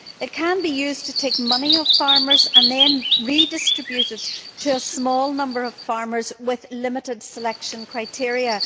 It can be used to take money from farmers and then redistribute it to a small number of farmers with limited selection criteria.